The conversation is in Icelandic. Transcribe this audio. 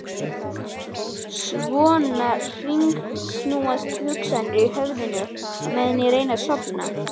Svona hringsnúast hugsanirnar í höfðinu meðan ég reyni að sofna.